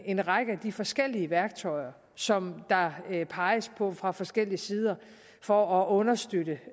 en række af de forskellige værktøjer som der peges på fra forskellige sider for at understøtte